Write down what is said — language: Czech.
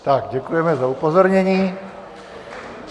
Tak děkujeme za upozornění.